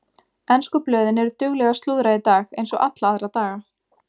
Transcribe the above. Ensku blöðin eru dugleg að slúðra í dag eins og alla aðra daga.